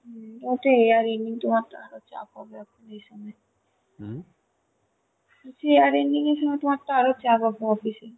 ও ওটাই , year ending তোমার তো আরো চাপ হবে বলছি year ending এর সময় তো আরো চাপ হবে office এ.